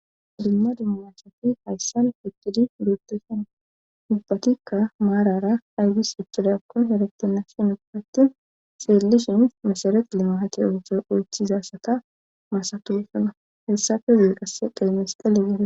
Dumma dummasati hayssan fikidi dduuteshen ubbatikka maarara aygis iccida akkon heretinasin ubbatti xeellishin mesharet limahate oote ooththizasata maasatuesana hessafe zie qasse qeemesxele gito.